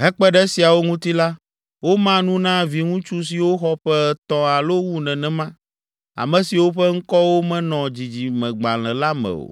Hekpe ɖe esiawo ŋuti la, woma nu na viŋutsu siwo xɔ ƒe etɔ̃ alo wu nenema, ame siwo ƒe ŋkɔwo menɔ dzidzimegbalẽ la me o,